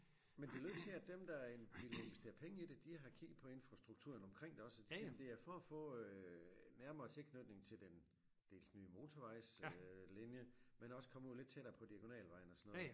Men det lød til at dem der ville investere penge i det de har kigget på infrastrukturen omkring det også og de siger jamen det er for at få nærmere tilknytning til den dels nye motorvejs øh linje men også komme ud lidt tættere på diagonalvejen og sådan noget